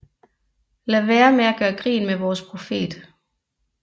Lad være med at gøre grin med vores profet